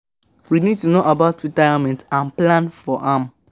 We need to know about retirement and plan for am